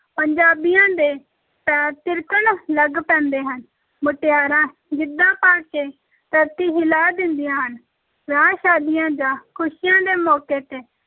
ਪੰਜਾਬੀਆਂ ਦੇ ਪੈਰ ਥਿਰਕਣ ਲੱਗ ਪੈਂਦੇ ਹਨ, ਮੁਟਿਆਰਾਂ ਗਿੱਧਾ ਪਾ ਕੇ ਧਰਤੀ ਹਿਲਾ ਦਿੰਦੀਆਂ ਹਨ, ਵਿਆਹ-ਸ਼ਾਦੀਆਂ ਜਾਂ ਖ਼ੁਸ਼ੀਆਂ ਦੇ ਮੌਕੇ ‘ਤੇ